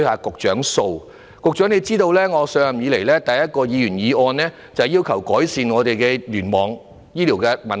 局長或許也知道，我上任以來首次提出一項議員議案，正是要求當局改善醫院聯網的問題。